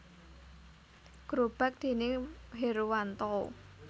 Grobak déning Herwanto